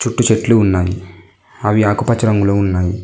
చుట్టూ చెట్లు ఉన్నాయి అవి ఆకుపచ్చ రంగులో ఉన్నాయి.